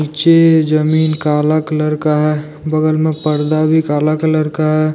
निचे जमीन काला कलर का है बगल में पर्दा भी काला कलर का है।